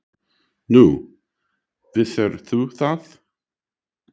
Nú, vissir þú það?